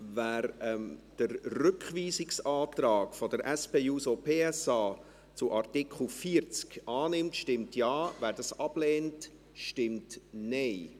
Wer den Rückweisungsantrag der SP-JUSO-PSA zu Artikel 40 annimmt, stimmt Ja, wer dies ablehnt, stimmt Nein.